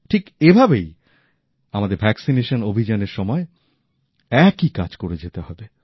ঠিক এভাবেই আমাদের টিকাকরণ অভিযানের সময় একই কাজ করে যেতে হবে